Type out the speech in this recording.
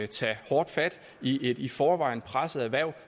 tage hårdt fat i et i forvejen presset erhverv